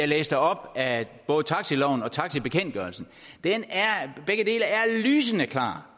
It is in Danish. læste op af både taxaloven og taxabekendtgørelsen begge dele er lysende klare